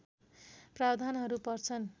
प्रावधानहरू पर्छन्